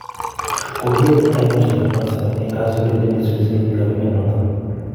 Kokieet ainosiek ab Zanzibar eng� kasubeet nemesubii sirutik ab emet notok